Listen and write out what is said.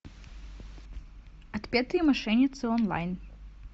отпетые мошенницы онлайн